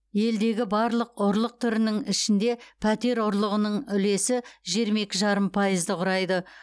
елдегі барлық ұрлық түрінің ішінде пәтер ұрлығының үлесі жиырма екі жарым пайызды құрайды